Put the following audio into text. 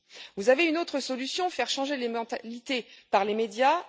Vous avez une autre solution faire changer les mentalités par les médias.